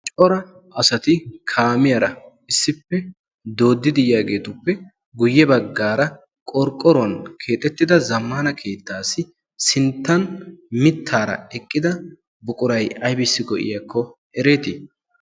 cora asati kaamiyaara issippe doodidi yaageetuppe guyye baggaara qorqqoruwan keexettida zammana keettaassi sinttan mittaara eqqida buqurai aybissi go'iyaakko ereetii